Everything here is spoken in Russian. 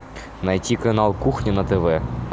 найти канал кухня на тв